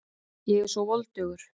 Ég er svo voldugur.